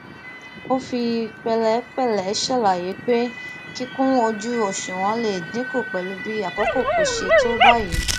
ó fi pèlépèlé ṣàlàyé pé kíkú ojú òṣùwọn lè dínkù pẹlú bí àkókò kò ṣe tó báyìí